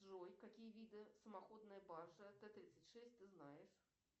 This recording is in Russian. джой какие виды самоходная баржа т тридцать шесть ты знаешь